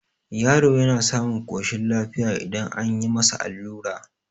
yaro yana samun koshin lafiya idan an yi masa allura